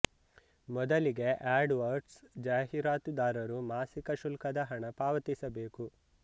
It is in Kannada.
ಮೊದಲಿಗೆ ಆಡ್ ವರ್ಡ್ಸ್ ಜಾಹೀರಾತುದಾರರು ಮಾಸಿಕ ಶುಲ್ಕದ ಹಣ ಪಾವತಿಸಬೇಕು